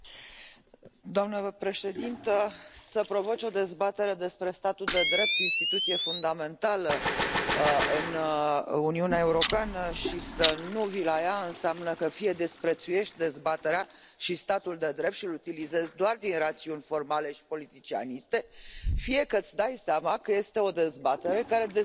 Doamnă președintă, să provoci o dezbatere despre statul de drept, instituție fundamentală în Uniunea Europeană, și să nu vii la ea înseamnă că fie desprețuiești dezbaterea și statul de drept și îl utilizezi doar din rațiuni formale și politicianiste, fie că îți dai seama că este o dezbatere care dezonorează.